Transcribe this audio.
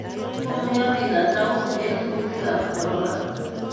Komeeyo biik ata en kuutikaab corons